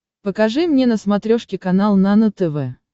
покажи мне на смотрешке канал нано тв